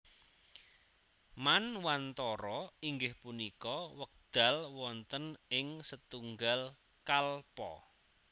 Manwantara inggih punika wekdal wonten ing setunggal kalpa